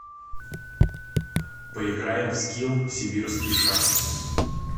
поиграем в скилл сибирские шахматы